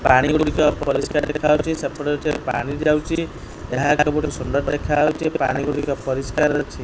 ପାଣିଗୁଡ଼ିକ ପରିଷ୍କାର ଦେଖାଯାଉଛି ସେପଟେ କିଛି ପାଣି ଯାଉଛି ଏହା ଏକ ସୁନ୍ଦର ଦେଖାଯାଉଛି ପାଣି ଗୁଡିକ ପରିଷ୍କାର ଅଛି।